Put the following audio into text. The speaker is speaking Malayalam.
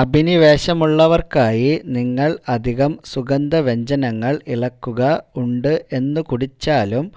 അഭിനിവേശമുള്ളവർക്കായി നിങ്ങൾ അധികം സുഗന്ധവ്യഞ്ജനങ്ങൾ ഇളക്കുക ഉണ്ട് എന്ന് കുടിച്ചാലും